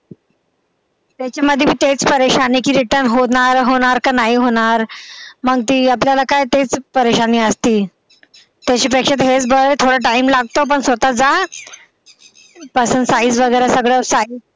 त्याच्या मध्ये मी तेच आहे कि return होणार की नाही होणार मग ती आपल्याला काय तीच असते त्याच्यापेक्षा हेच बर आहे थोडा time लागतो पण स्वतः जा पासून size वगैरे सगळं